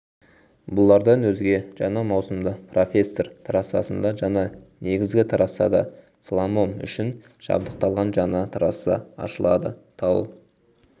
бұлардан өзге жаңа маусымда профессор трассасында және негізгі трассада сламом үшін жабдықталған жаңа трасса ашылады тау